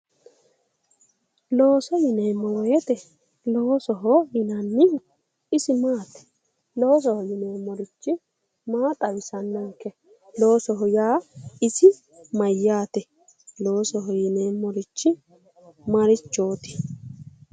Looso yineemmo woyite loosoho yinannihu isi maati? Loosoho yineemmorichi maa xawisannonke? Loosoho yaa isi mayyaate? Loosoho yineemmorichi marichooti?